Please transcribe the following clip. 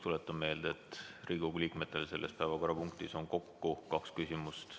Tuletan meelde, et Riigikogu liikmetel on selles päevakorrapunktis kokku kaks küsimust.